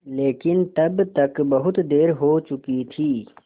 लेकिन तब तक बहुत देर हो चुकी थी